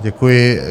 Děkuji.